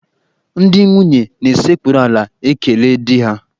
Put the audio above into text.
Ndị nwunye na-esekpuru ala ekele di ha.